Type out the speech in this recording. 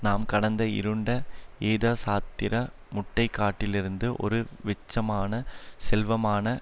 நாம் கடந்த இருண்ட எதச்சாத்திர முட்டைக்காட்டிலிருந்து ஒரு வெச்சமான செல்வமான